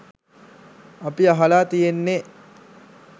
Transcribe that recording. අපි අහලා තියෙන්නේ